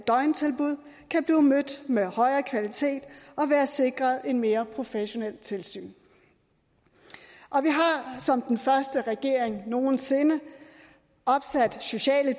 døgntilbud kan blive mødt med højere kvalitet og være sikret et mere professionelt tilsyn og vi har som den første regering nogen sinde opsat sociale